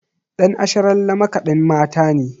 Ɗan Asharalle makaɗin Mata ne.